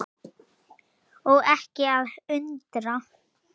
Og ekki að undra.